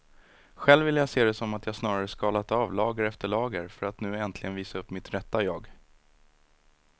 Själv vill jag se det som att jag snarare har skalat av lager efter lager för att nu äntligen visa upp mitt rätta jag.